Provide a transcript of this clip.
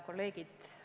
Kolleegid!